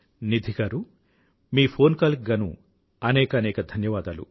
నిధి గారూ మీ phone call కి గానూ అనేకానేక ధన్యవాదాలు